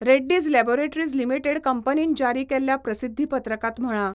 Reddy's laboratories limited कंपनीन जारी केल्ल्या प्रसिध्दी पत्रकात म्हळा.